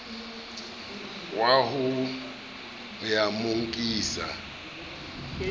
wa ho ya mo nkisa